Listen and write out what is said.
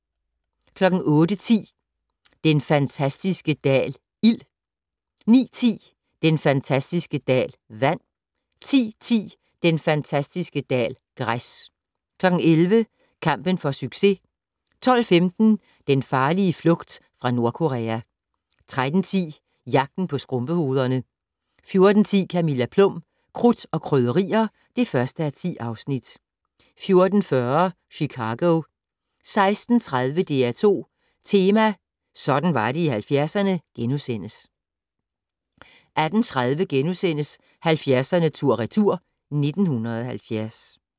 08:10: Den fantastiske dal - ild 09:10: Den fantastiske dal - vand 10:10: Den fantastiske dal - græs 11:00: Kampen for succes 12:15: Den farlige flugt fra Nordkorea 13:10: Jagten på skrumpehovederne 14:10: Camilla Plum - Krudt og Krydderier (1:10) 14:40: Chicago 16:30: DR2 Tema: Sådan var det i 70'erne * 18:30: 70'erne tur/retur: 1970 *